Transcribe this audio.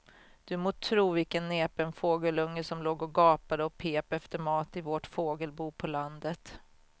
Du må tro vilken näpen fågelunge som låg och gapade och pep efter mat i vårt fågelbo på landet.